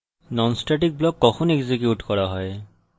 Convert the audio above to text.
non static block কখন execute করা হয়